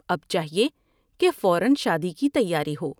اب چاہیے کہ فورا شادی کی تیاری ہو ۔